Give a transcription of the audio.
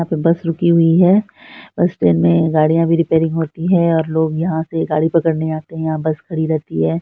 यहाँ पे बस रुकी हुई है बस स्टैंड में गाड़ियां भी रिपेयरिंग होती है और लोग यहां से गाड़ी पकड़ने आते है यहां बस खड़ी रहती है।